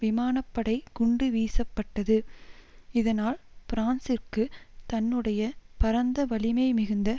விமான படை குண்டு வீசப்பட்டது இதனால் பிரான்சிற்கு தன்னுடைய பரந்த வலிமை மிகுந்த